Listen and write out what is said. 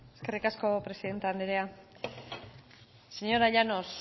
eskerrik asko presidente andrea señora llanos